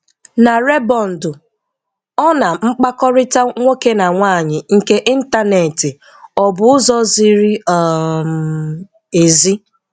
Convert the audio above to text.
Na Rebọndụ - Ọ na mkpakọrịta nwoke na nwaanyị nke ịntaneti ọ bụ ụzọ ziri um ezi?